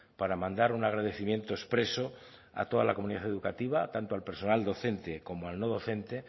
para mandar un agradecimiento expreso a toda la comunidad educativa tanto al personal docente como al no docente